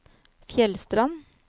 Fjellstrand